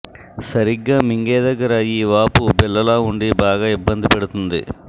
సరిగ్గా మింగే దగ్గర ఈ వాపు బిళ్లలా ఉండి బాగా ఇబ్బంది పెడుతోంది